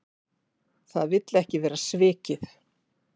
Það vill ekki vera svikið.